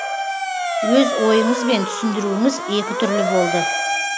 өз ойыңыз бен түсіндіруіңіз екі түрлі болды